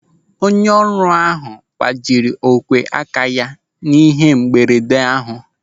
Onye ọrụ ahụ gbajiri ogwe aka ya n'ihe mberede ahụ.